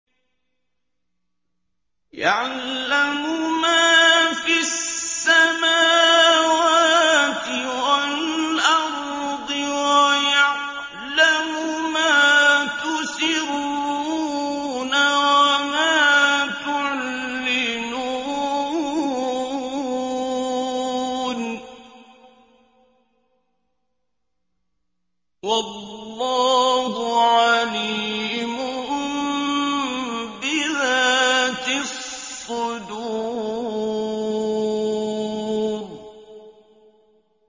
يَعْلَمُ مَا فِي السَّمَاوَاتِ وَالْأَرْضِ وَيَعْلَمُ مَا تُسِرُّونَ وَمَا تُعْلِنُونَ ۚ وَاللَّهُ عَلِيمٌ بِذَاتِ الصُّدُورِ